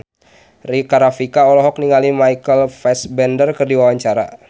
Rika Rafika olohok ningali Michael Fassbender keur diwawancara